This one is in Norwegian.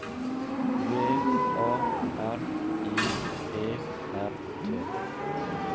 V A R I E R T